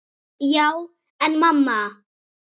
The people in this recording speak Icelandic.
Já, en mamma.!